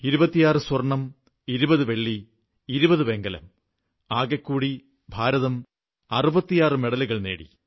26സ്വർണ്ണം 20 വെള്ളി 20 വെങ്കലം എന്നിവയടക്കം ഇന്ത്യ 66 മെഡലുകൾ നേടി